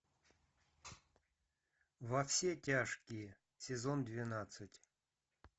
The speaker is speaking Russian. во все тяжкие сезон двенадцать